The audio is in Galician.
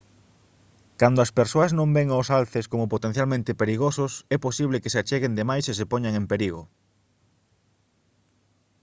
cando as persoas non ven aos alces como potencialmente perigosos é posible que se acheguen de máis e se poñan en perigo